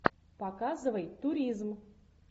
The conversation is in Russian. показывай туризм